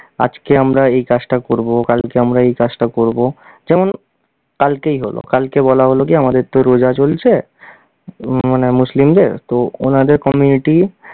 আজকে আমরা এই কাজটা করব, কালকে আমরা এই কাজটা করব। যেমন কালকেই হ'ল, কালকে বলা হলো গিয়ে আমাদের তো রোজা চলছে, মানে মুসলিমদের, তো ওনাদের community